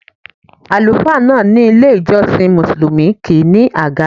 Àlùfáà náà ní ilé-ìjọsìn Mùsùlùmí kì í ní àga.